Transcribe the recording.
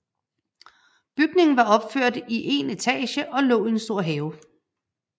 Bygningen var opført i 1 etage og lå i en stor have